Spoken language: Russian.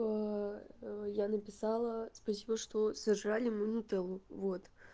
оо я написала спасибо что сожрали мою нутеллу вот